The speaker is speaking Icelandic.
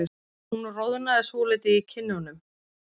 Hún roðnaði svolítið í kinnunum.